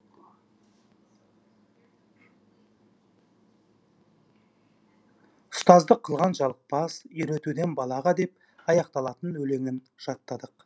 ұстаздық кылған жалықпас үйретуден балаға деп аяқталатын өлеңін жаттадық